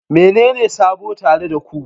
Menene sabo tare da ku?